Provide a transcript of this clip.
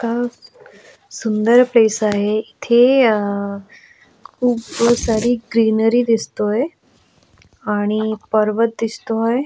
क सुंदर प्लेस आहे इथे अ खूब सारी ग्रीनरी दिसतोय आणि पर्वत दिसतोय.